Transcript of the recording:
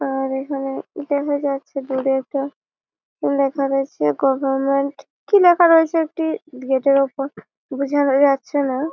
আর এখানে দেখা যাচ্ছে দূরে একটা লেখা রয়েছে গভার্মেন্ট কি লেখা রয়েছে একটি গেট এর উপর বোঝাও যাচ্ছে না --